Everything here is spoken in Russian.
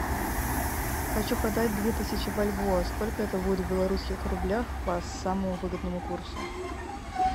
хочу продать две тысячи бальбоа сколько это будет в белорусских рублях по самому выгодному курсу